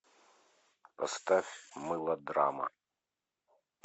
поставь мылодрама